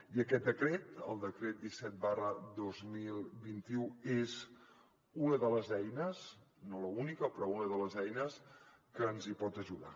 i aquest decret el decret disset dos mil vint u és una de les eines no l’única però una de les eines que ens hi pot ajudar